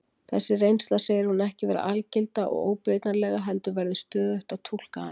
Þessa reynslu segir hún ekki vera algilda og óbreytanlega heldur verði stöðugt að túlka hana.